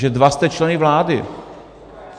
Že dva jste členy vlády.